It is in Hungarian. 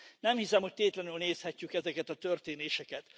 Nem hiszem, hogy tétlenül nézhetjük ezeket a történéseket.